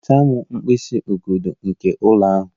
Nweta m mkpịsị ugodi nke ụlọ ahụ!